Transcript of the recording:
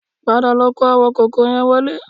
Padà lọ kó àwọn kòkó yẹ wọlé